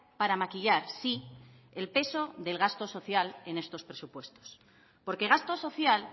para maquillar sí el peso del gasto social en estos presupuestos porque gasto social